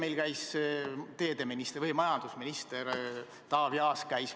Eile käis meil rahanduskomisjonis majandusminister Taavi Aas.